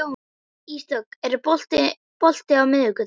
Ísdögg, er bolti á miðvikudaginn?